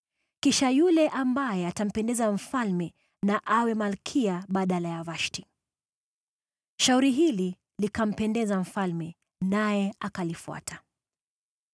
Kisha yule ambaye atampendeza mfalme na awe malkia badala ya Vashti.” Shauri hili likampendeza mfalme, naye akalifuata.